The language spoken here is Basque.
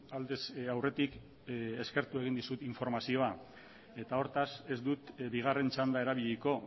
aldez aurretik eskertu egin dizut informazioa eta hortaz ez dut bigarren txanda erabiliko